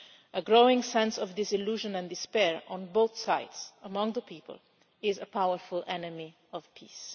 A growing sense of disillusionment and despair on both sides among the people is a powerful enemy of peace.